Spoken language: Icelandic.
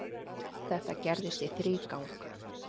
Þetta gerðist í þrígang.